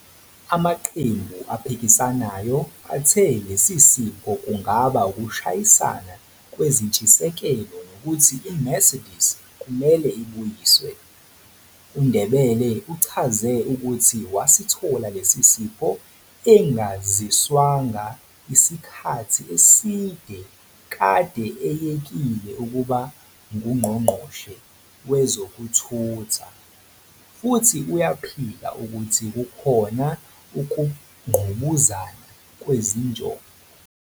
Amaqembu aphikisayo athe lesi sipho kungaba ukushayisana kwezintshisekelo nokuthi iMercedes kumele ibuyiswe. UNdebele uchaze ukuthi wasithola lesi sipho engaziswanga, isikhathi eside kade eyekile ukuba nguNgqongqoshe wezokuThutha, futhi uyaphika ukuthi kukhona ukungqubuzana kwezinjongo.